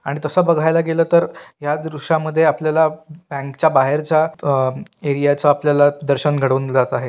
आणि तस बघायला गेल तर या दृश्यामध्ये आपल्याला बँक च्या बाहेरच्या अ एरिया च्या आपल्याला दर्शन घडवून जात आहे.